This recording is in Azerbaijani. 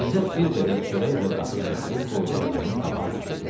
İzzət bir qədər çörək və qatıq gətirib qoydu oğlunun qabağına.